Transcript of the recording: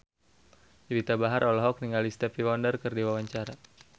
Juwita Bahar olohok ningali Stevie Wonder keur diwawancara